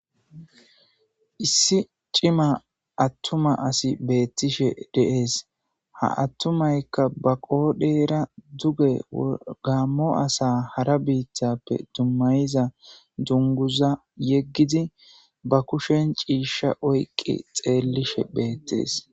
issi cima attuma asi beettishe deees ha attumaykka ba qoodheera duge wgammo asa hara biittappe dummayiza dunguza yeggidi ba kushen ciisha oyqi xeellishe beettees